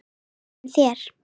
En þér?